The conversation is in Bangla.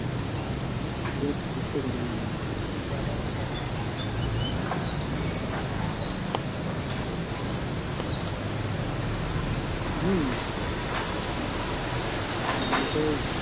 এবার যারা যারা হয়ত লাগিয়েছে তারা আহ তাদের তাদের লাভবান হবে যদি দাম থাকে তাহলে তাই না? হম আগের বছর